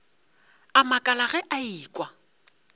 a makala ge a ekwa